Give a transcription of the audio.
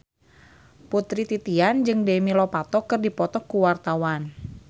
Putri Titian jeung Demi Lovato keur dipoto ku wartawan